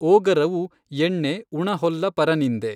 ಓಗರವು ಎಣ್ಣೆ ಉಣಹೊಲ್ಲ ಪರನಿಂದೆ।